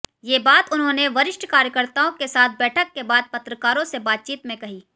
ये बात उन्होंने वरिष्ठ कार्यकर्ताओं के साथ बैठक के बाद पत्रकारों से बातचीत में कहीं